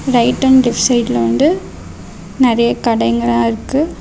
Right and left சைடுல வந்து நெறய கடைங்களா இருக்கு.